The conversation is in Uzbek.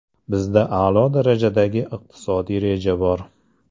Bizda a’lo darajadagi iqtisodiy reja bor.